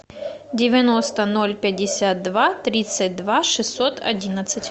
девяносто ноль пятьдесят два тридцать два шестьсот одиннадцать